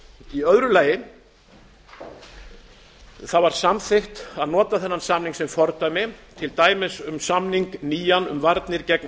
í öðru lagi var samþykkt að nota þennan samning sem fordæmi til dæmis fyrir nýjum samningi um varnir gegn